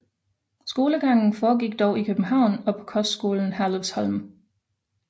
Skolegangen foregik dog i København og på kostskolen Herlufsholm